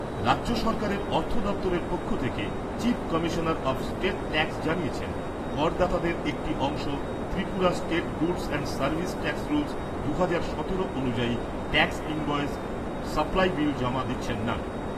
রাজ্য সরকারের অর্থ দপ্তরের পক্ষ থেকে chief commissioner of state tax জানিয়েছেন, করদাতাদের একটি অংশ Tripura state goods and service tax rules, দুহাজার সতেরো অনুযায়ী ট্যাক্স ইনভয়েজ সাপ্লাই বিল জমা দিচ্ছেন না।